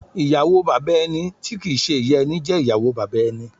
Ìyàwó Bàbà ẹni tí kìí ń ṣe ìyá ẹni jẹ́ ìyàwó bàbá ẹni.